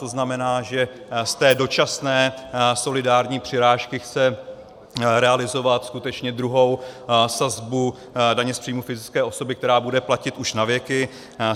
To znamená, že z té dočasné solidární přirážky chce realizovat skutečně druhou sazbu daně z příjmů fyzické osoby, která bude platit už na věky.